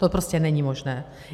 To prostě není možné.